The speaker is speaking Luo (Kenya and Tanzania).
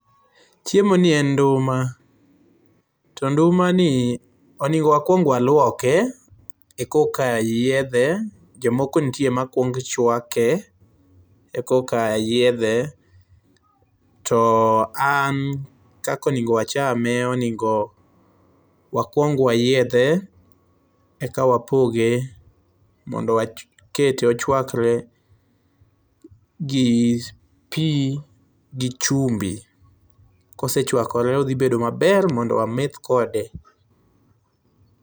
Chiemo ni en nduma to ndumani onego wakuong waluoke ekoka yiedhe, jomoko nitie makuong chwake ekoka yiedhe to an kaka onego wachame onego wakuong wayiedhe eka wapoge mondo wakete ochwakre gi pii gi chumbi. Kosechwakore odhi bedo maber mondo wameth kode